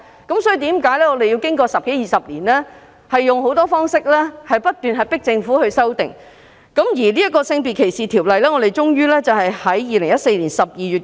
因此，我們經過十多二十年仍要以各種方式迫使政府作出修訂。《性別歧視條例》終於在2014年12月修訂。